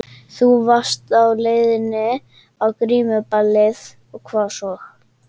Þú varst á leiðinni á grímuballið og hvað svo?